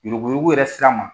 Yurugu yurugu yɛrɛ sira ma.